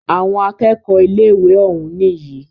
Àwọn akẹ́kọ̀ọ́ ilé ìwé òún nìyí.